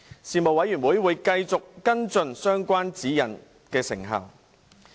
事務委員會會繼續跟進相關指引的成效。